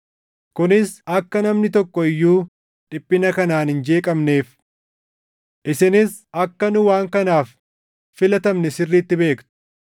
kunis akka namni tokko iyyuu dhiphina kanaan hin jeeqamneef. Isinis akka nu waan kanaaf filatamne sirriitti beektu.